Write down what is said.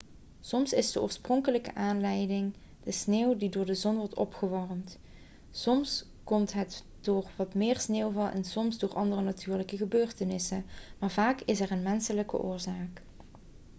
soms is de oorspronkelijke aanleiding de sneeuw die door de zon wordt opgewarmd soms komt het door wat meer sneeuwval en soms door andere natuurlijke gebeurtenissen maar vaak is er een menselijke oorzaak